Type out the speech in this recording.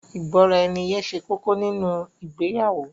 Ìgbọ́raẹniye ṣe kókó nínu ìgbéyàwó.